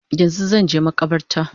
Yanzu zanje makabarta